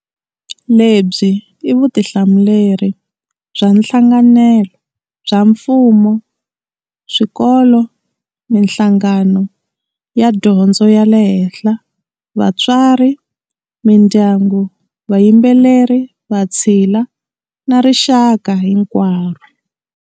Lebyi i vutihlamuleri bya nhlanganelo bya mfumo, swikolo, mihlangano ya dyondzo ya le henhla, vatswari, mindyangu, va yimbeleri, vatshila, na rixaka hinkwaro.